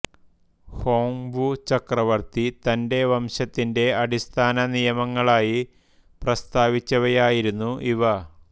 Hong Wu ചക്രവർത്തി തന്റെ വംശത്തിന്റെ അടിസ്ഥാന നിയമങ്ങളായി പ്രസ്താവിച്ചവയായിരുന്നു ഇവ